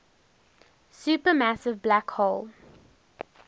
supermassive black hole